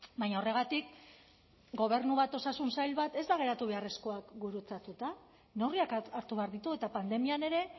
baina horregatik gobernu bat osasun sail bat ez da geratu behar eskuak gurutzatuta neurriak hartu behar ditu eta pandemian ere